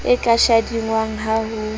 e ka shadingwang ha ho